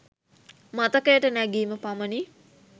මතකයට නැගීම පමණි.